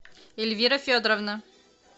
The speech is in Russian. эльвира федоровна